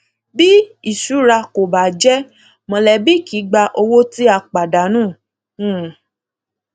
bí ìṣura kò bá jẹ mọlẹbí kì í gba owó tí a pàdánù um